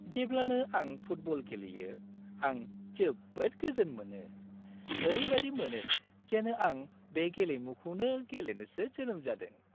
जेब्लानो आं फुटबल गेलेयो, आं जोबोद गोजोन मोनो। ओरैबायदि मोनो, जेन आं बे गेलेमुखौनो गेलेनोसो जोनोम जादों।